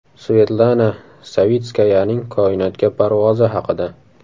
Svetlana Savitskayaning koinotga parvozi haqida.